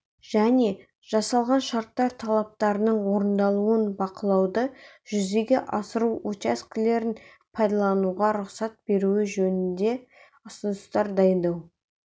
және жасалған шарттар талаптарының орындалуын бақылауды жүзеге асыру учаскелерін пайдалануға рұқсат беруі жөнінде ұсыныстар дайындау